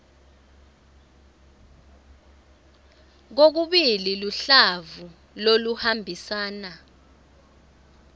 kokubili luhlavu loluhambisana